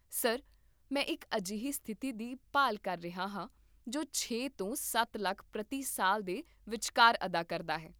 sir, ਮੈਂ ਇੱਕ ਅਜਿਹੀ ਸਥਿਤੀ ਦੀ ਭਾਲ ਕਰ ਰਿਹਾ ਹਾਂ ਜੋ ਛੇ ਤੋਂ ਸੱਤ ਲੱਖ ਪ੍ਰਤੀ ਸਾਲ ਦੇ ਵਿਚਕਾਰ ਅਦਾ ਕਰਦਾ ਹੈ